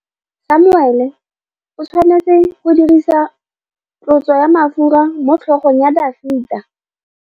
Samuele o tshwanetse go dirisa tlotsô ya mafura motlhôgong ya Dafita.